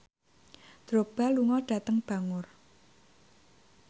Drogba lunga dhateng Bangor